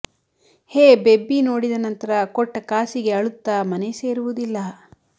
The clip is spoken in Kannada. ಹೇ ಬೆಬ್ಬಿ ನೋಡಿದ ನಂತರ ಕೊಟ್ಟ ಕಾಸಿಗೆ ಅಳುತ್ತ ಮನೆ ಸೇರವುದಿಲ್ಲ